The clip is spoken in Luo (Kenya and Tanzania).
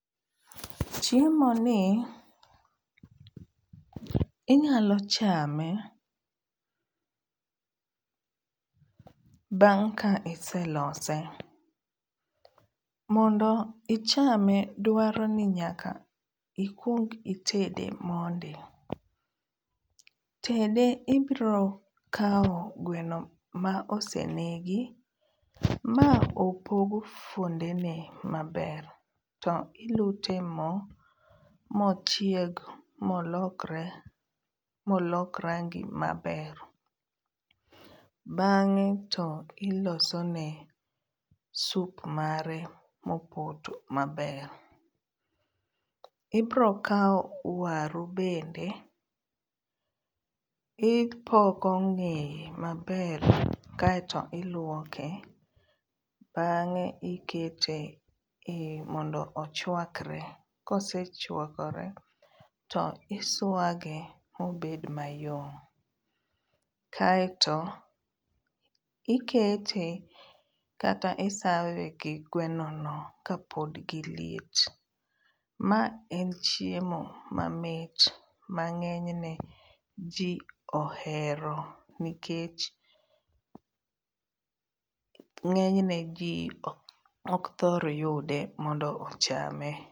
Chiemoni inyalo chame bang' ka iselose. Mondo ichame dwaroni nyaka ikuong itede mondi. Tede ibrokao gweno maosenegi ma opog kuondene maber to ilute moo mochieg molokre, molok rangi maber bang'e to ilosone sup mare mopoto maber. Ibrokao waru bende ipoko ng'eye maber kae to iluoke, bang'e ikete mondo ochuakre. Kosechuakore to isuage mobed mayom kae to ikete kata i serve[ gi gwenono kapod giliet. Ma en chiemo mamit ma ng'enyne jii ohero nikech ng'enyne jii okthor yude mondo ochame.